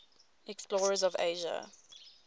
explorers of asia